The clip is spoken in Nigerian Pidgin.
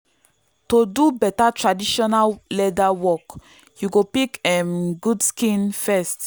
to do better traditional leather work you go pick um good skin first.